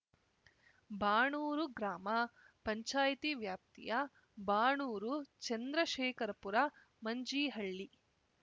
ಬಾಣೂರು ಗ್ರಾಮ ಪಂಚಾಯಿತಿ ವ್ಯಾಪ್ತಿಯ ಬಾಣೂರು ಚಂದ್ರಶೇಖರ ಪುರ ಮಂಜೀಹಳ್ಳಿ